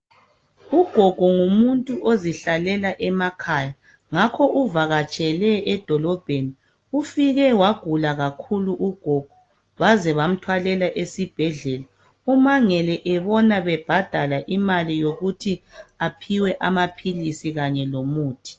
Ugogo ngumuntu ozihlalela emakhaya .Ngakho uvakatshele edolobheni, ufike wagula kakhulu ugogo ,baze bamthwalela esibhedlela. Umangele ebona bebhadala imali yokuthi aphiwe amaphilisi kanye lomuthi.